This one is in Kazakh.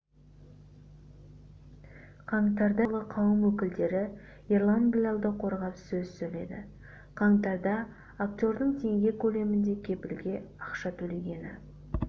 қаңтарда зиялы қауым өкілдері ерлан біләлді қорғап сөз сөйледі қаңтарда актердің теңге көлемінде кепілге ақша төлегені